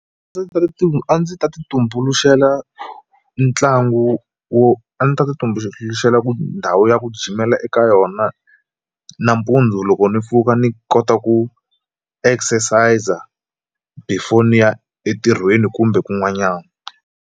a ndzi ta ti a ndzi ta ti tumbuluxela ntlangu wo a ndzi ta ti tumbuluxela ku ndhawu ya ku ndhawu ya ku jimela eka yona nampundzu loko ni pfuka ni kota ku exercise before ni ya entirhweni kumbe kun'wanyana.